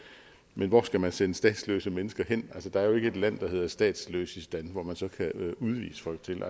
men hvor skal man sende statsløse mennesker hen altså der er jo ikke et land der hedder statsløsistan hvor man så kan udvise folk til